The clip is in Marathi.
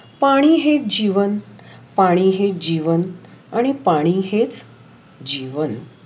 पाणी हे जीवन, पाणी हे जीवन, आणि पाणी हे जीवन.